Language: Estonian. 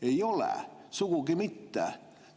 Ei ole, sugugi mitte!